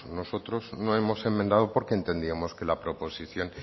nosotros no hemos enmendando porque entendíamos que la proposición